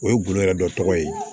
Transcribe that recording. O ye guloyɔ dɔ tɔgɔ ye